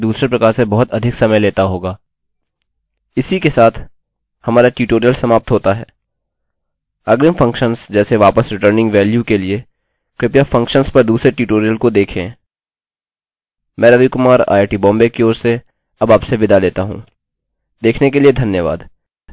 मैं रवि कुमार आईआईटीबॉम्बे की ओर अब आपसे विदा लेता हूँ देखने के लिए धन्यवाद